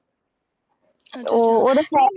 ਉਹ ਉਹਦੇ ਫੈਟ